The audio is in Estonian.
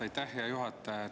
Aitäh, hea juhataja!